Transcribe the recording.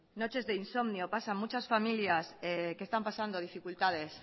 noches de insomnio pasan muchas familias que están pasando dificultades